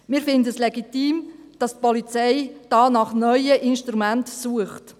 Wir finden es legitim, dass die Polizei hier nach neuen Instrumenten sucht.